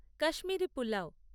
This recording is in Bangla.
কাশ্মীরি পুলাও